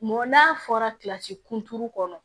Mɔn n'a fɔra kilasi kun kɔnɔ